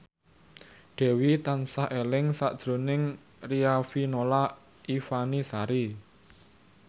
Dewi tansah eling sakjroning Riafinola Ifani Sari